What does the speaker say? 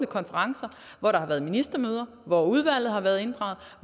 konferencer hvor der har været ministermøder hvor udvalget har været inddraget og